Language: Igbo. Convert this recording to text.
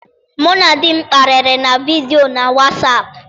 Mụ na di m kparịrị na vidio na wasap.